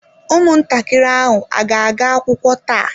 Ụmụntakịrị ahụ a ga-aga akwụkwọ taa?